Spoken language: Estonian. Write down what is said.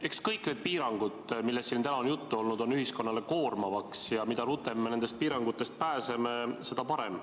Eks kõik need piirangud, millest siin täna on juttu olnud, on ühiskonnale koormaks, ja mida rutem me nendest pääseme, seda parem.